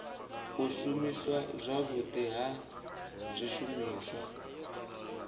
u shumiswa zwavhudi ha zwishumiswa